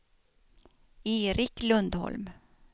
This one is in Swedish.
Erik Lundholm